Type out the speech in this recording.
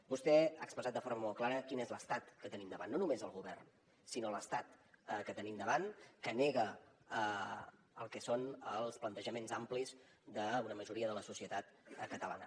vostè ha expressat de forma molt clara quin és l’estat que tenim davant no només el govern sinó l’estat que tenim davant que nega el que són els plantejaments amplis d’una majoria de la societat catalana